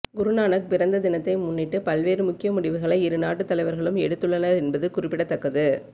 குருநானக் பிறந்த தினத்தை முன்னிட்டு பல்வேறு முக்கிய முடிவுகளை இருநாட்டு தலைவர்களும் எடுத்துள்ளனர் என்பது குறிப்பிடத்தக்கது